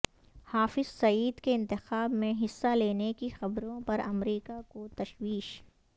حافظ سعید کے انتخاب میں حصہ لینے کی خبروں پر امریکہ کو تشویش